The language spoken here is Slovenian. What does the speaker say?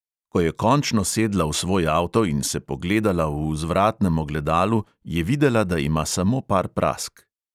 Ko je končno sedla v svoj avto in se pogledala v vzvratnem ogledalu, je videla, da ima samo par prask.